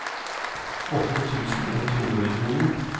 åtte tusen ett hundre og tjueni